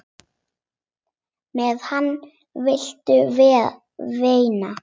Með hana viltu vinna.